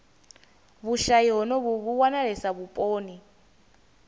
vhushayi honovhu vhu wanalesa vhuponi